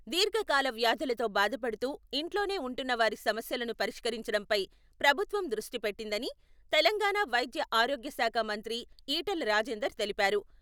దీర్ఘకాల వ్యాధులతో బాధపడుతూ, ఇంట్లోనే ఉంటున్న వారి సమస్యలను పరిష్కరించడంపై ప్రభుత్వం దృష్టి పెట్టిందని తెలంగాణా వైద్య ఆరోగ్యశాఖ మంత్రి ఈటెల రాజేందర్ తెలిపారు.